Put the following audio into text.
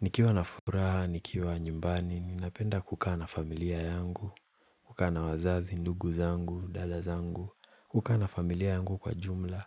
Nikiwa na furaha, nikiwa nyumbani, napenda kukaa na familia yangu, kukaa na wazazi, ndugu zangu, dada zangu, kukaa na familia yangu kwa jumla,